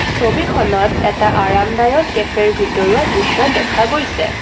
ছবিখনত এটা আৰামদায়ক কেফেৰ ভিতৰুৱা দৃশ্য দেখা গৈছে।